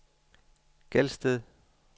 Gelsted